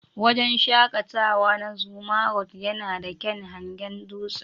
Wajen shaƙatawa na "Zuma rock " yana da kyaun hangen dutsen.